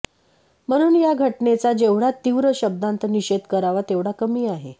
म्हणून या घटनेचा जेवढय़ा तीव्र शब्दांत निषेध करावा तेवढा कमी आहे